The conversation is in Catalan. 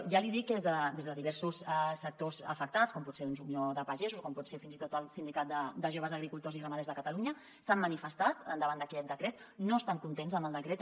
ja li dic que des de diversos sectors afectats com pot ser unió de pagesos o com pot ser fins i tot el sindicat de joves agricultors i ramaders de catalunya s’han manifestat davant d’aquest decret no estan contents amb el decret